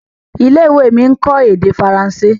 ilé-ìwé mí nkọ èdè Faransé.